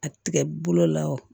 A tigɛ bolo la wa